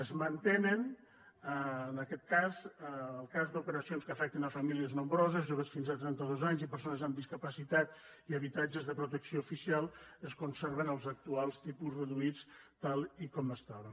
es mantenen en aquest cas el cas d’operacions que afecten famílies nombroses joves fins a trenta dos anys i persones amb discapacitat i en habitatges de protecció oficial es conserven els actuals tipus reduïts tal com estaven